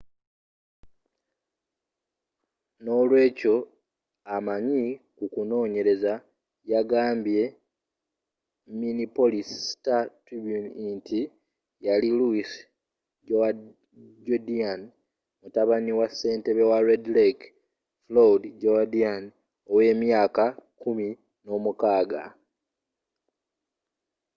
n'olweekyo amanyi ku kunoonyereza yagambye minneapolis star-tribune nti yali louis jourdain mutabani wa ssentebe wa red lake floyd jourdain ow'emyaka kumi n'omukaaga